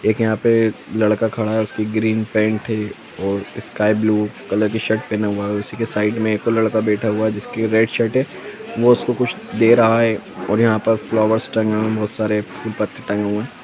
एक यहाँ पे लड़का खड़ा है उसकी ग्रीन पेंट है और स्काई ब्लू कलर की शर्ट पहना हुआ है उसी के साइड मे एक लड़का बैठा हुआ है जिसका रेड शर्ट है वो उसको कुछ दे रहा है और यहाँ पर फ्लावर्स टंगे हुए है बहुत सारे फूल पत्ते टंगे हुए है।